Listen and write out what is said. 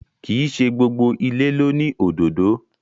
Kìí ṣe gbogbo ìlé lóni òdódó